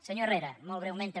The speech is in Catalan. senyor herrera molt breument també